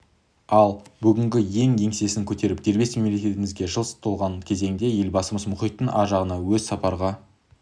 ал бүгінде ең еңсесін көтеріп дербес мемлекетімізге жыл толған кезеңде елбасының мұхиттың ар жағына өзі сапарға